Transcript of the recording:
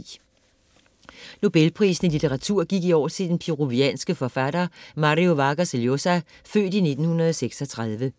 Nobelprisen i litteratur gik i år til den peruvianske forfatter Mario Vargas Llosa, født 1936.